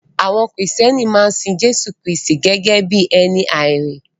Àwọn Kristẹni maa n sin Jésù Kristi gẹ́gẹ́ bí ẹni àárín.